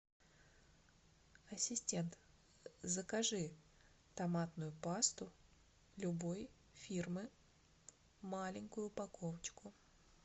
ассистент закажи томатную пасту любой фирмы маленькую упаковочку